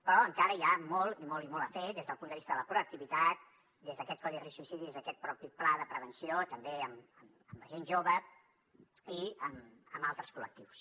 però encara hi ha molt i molt i molt a fer des del punt de vista de la proactivitat des d’aquest codi risc suïcidi des d’aquest propi pla de prevenció també amb la gent jove i amb altres col·lectius